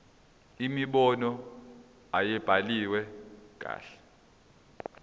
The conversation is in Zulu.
imibono ayibhaliwe kahle